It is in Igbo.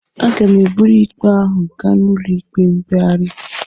Aga m eburu ikpe ahụ gaa n'ụlọ ikpe mkpegharị